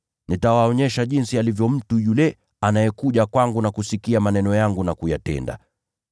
Nitawaonyesha jinsi alivyo mtu yule anayekuja kwangu na kusikia maneno yangu na kuyatenda.